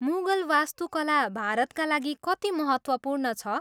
मुगल वास्तुकला भारतका लागि कति महत्त्वपूर्ण छ?